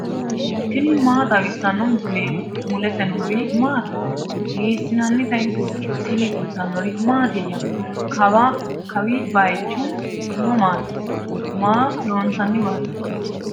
tini maa xawissanno misileeti ? mulese noori maati ? hiissinannite ise ? tini kultannori mattiya? Kawi bayiichchu mamaatti? Maa loonsaniwaatti?